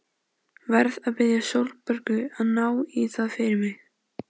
Verð að biðja Sólborgu að ná í það fyrir mig.